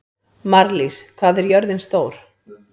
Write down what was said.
Marlís, hvað er jörðin stór?